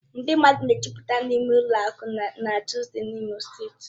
Ndị mmadụ na-ejụ́pụta n'ime ụlọ akụ na Tuzdee n'Imo steeti.